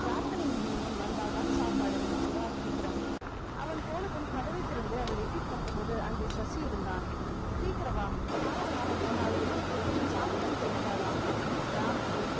பிரார்த்தனை முடியும் முன் வந்தால்தான் சாப்பாடு வா சீக்கிரம் அவன் போனதும் கதவைத் திறந்து அவள் எட்டிப் பார்த்தபோது அங்கே சசி இருந்தான் சீக்கிரம் வா தாமதமாகப் போனால் உணவுக் கூடத்தில் சாப்பாடு கிடைக்காதாம் ராபர்ட்